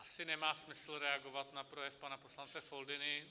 Asi nemá smysl reagovat na projev pana poslance Foldyny.